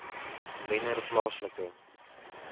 wennerplaaslike